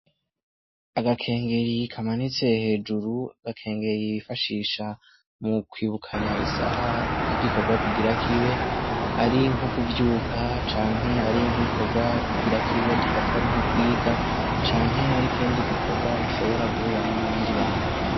Agakengeri kamanitse hejuru, agakengeri bifashisha mu kwibukanaya isaha y'igikorwa kigire kibe ari nko kuvyuka canke nk'igikorwa kigire kibe dufate ko ari nko kwiga canke nk'iyo ari kindi gikorwa mushobora guhuriramwo n'abandi bantu.